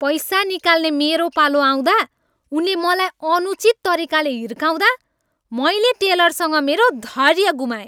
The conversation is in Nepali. पैसा निकाल्ने मेरो पालो आउँदा उनले मलाई अनुचित तरिकाले हिर्काउँदा मैले टेलरसँग मेरो धैर्य गुमाएँ।